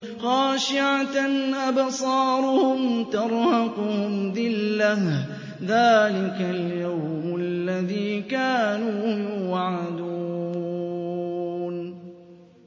خَاشِعَةً أَبْصَارُهُمْ تَرْهَقُهُمْ ذِلَّةٌ ۚ ذَٰلِكَ الْيَوْمُ الَّذِي كَانُوا يُوعَدُونَ